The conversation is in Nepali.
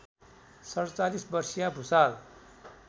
४७ वर्षीया भुसाल